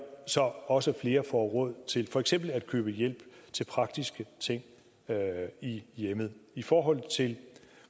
så også flere får råd til for eksempel at købe hjælp til praktiske ting i hjemmet i forhold til de